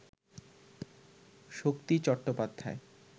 Shakti Chattopadhyay